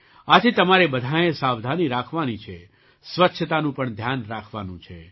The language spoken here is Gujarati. આથી તમારે બધાંએ સાવધાની રાખવાની છે સ્વચ્છતાનું પણ ધ્યાન રાખવાનું છે